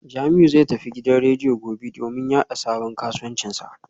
Jamiu zai tafi gidan rediyo gobe domin yada sabon kasuwancinsa